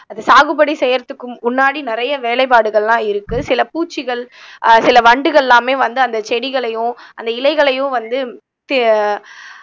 அது சாகுபடி செய்யறதுக்கும் முன்னாடி நிறைய வேலைப்பாடுகள் எல்லாம் இருக்கு சில பூச்சிகள் ஆஹ் சில வண்டுகள் எல்லாமே வந்து அந்த செடிகளையும் அந்த இலைகளையும் வந்து